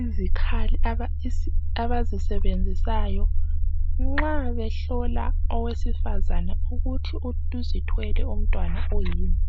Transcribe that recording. izikhali abazisebenzisayo nxa behlola owesifazane ukuthi uzithwele umntwana oyini.